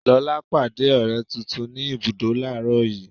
Lóla pàdé ọ̀rẹ́ tuntun ni ibùdó làárọ̀ yii.